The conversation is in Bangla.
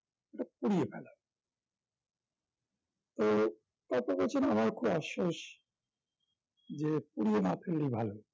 এটা পুড়িয়ে ফেলা তো এত বছর আমার খুব আফসোস যে পুড়িয়ে না ফেললেই ভালো